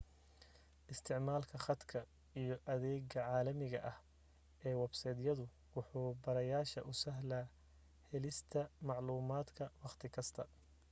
isticmaalka khadka iyo adeega calaamiga ah ee websaydyadu wuxu bartayaasha u sahlayaa helista macluumaadka waqti kasta